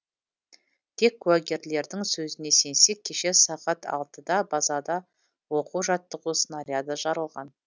тек куәгерлердің сөзіне сенсек кеше сағат алтыда базада оқу жаттығу снаряды жарылған